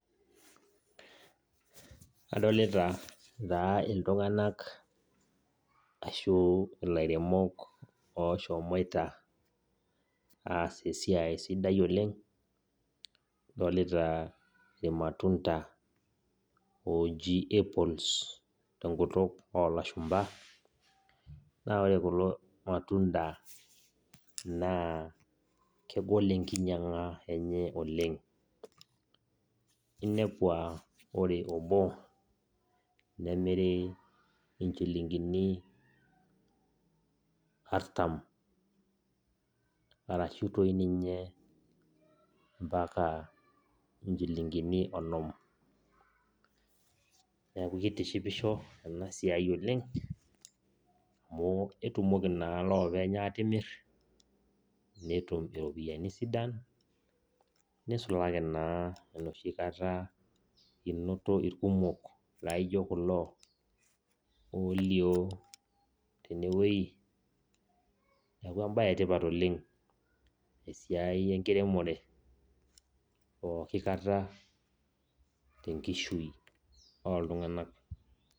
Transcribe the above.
Adolita taa iltung'anak ashu ilairemok oshomoita aas esiai sidai oleng, adolita irmatunda oji apples tenkutuk olashumpa. Na ore kulo matunda naa, kegol enkinyang'a enye oleng. Inepu ah ore obo, nemiri inchilingini artam. Arashu toi ninye mpaka inchilingini onom. Neeku kitishipisho enasiai oleng, amu ketumoki naa lopeny atimir, netum iropiyiani sidan, nisulaki naa enoshi kata inoto irkumok laijo kulo olio tenewei, neeku ebae etipat oleng esiai enkiremore, pooki kata tenkishui oltung'anak.